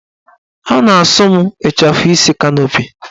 A na-asụ m ịchafụ isi kanopi